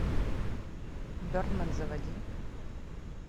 бердмен заводи